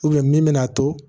min bɛna to